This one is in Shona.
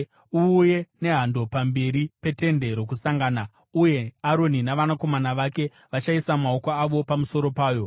“Uuye nehando pamberi peTende Rokusangana, uye Aroni navanakomana vake vachaisa maoko avo pamusoro payo.